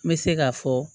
N bɛ se k'a fɔ